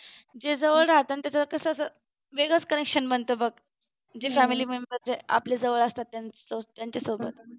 जे जवळ राहतात ना त्यांचं कसं वेगळच connection बनत बघ जे family member जे आपल्या जवळ असतात त्यांचं त्यांच्यासोबत